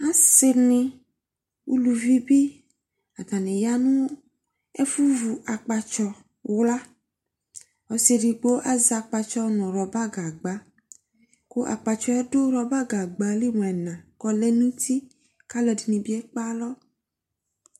asii ni, ʋlʋvi bi atani yanʋ ɛƒʋ vʋ akpatsɔ wka, ɔsii ɛdigbɔ azɛ akpatsɔ nʋ rubber gagba, rubber gagba ɛli mʋ ɛna kʋ ɔlɛnʋ ʋti kʋ alʋɛdini bi ɛkpɛ alɔ